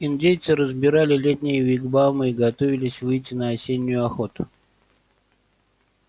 индейцы разбирали летние вигвамы и готовились выйти на осеннюю охоту